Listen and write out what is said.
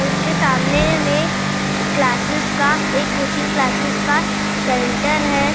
और उसके सामने मैं एक क्लासेस का एक कोचिंग क्लासेस का सेंटर है